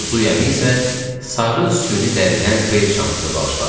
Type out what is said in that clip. Zuy əmi isə sarı süni dəridən bel çantası bağışladı.